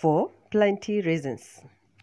for plenty reasons.